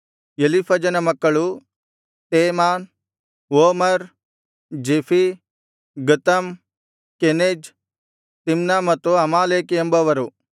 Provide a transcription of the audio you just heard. ಎಲೀಫಜನ ಮಕ್ಕಳು ತೇಮಾನ್ ಓಮಾರ್ ಜೆಫೀ ಗತಾಮ್ ಕೆನಜ್ ತಿಮ್ನ ಮತ್ತು ಅಮಾಲೇಕ್ ಎಂಬವರು